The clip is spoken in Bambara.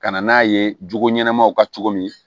Ka na n'a ye jogo ɲɛnamaw ka cogo min